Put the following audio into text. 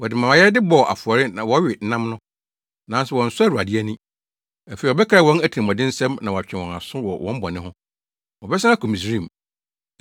Wɔde mʼayɛyɛde bɔ afɔre na wɔwe nam no, nanso wɔnsɔ Awurade ani. Afei ɔbɛkae wɔn atirimɔdensɛm na wɔatwe wɔn aso wɔ wɔn bɔne ho: Wɔbɛsan akɔ Misraim.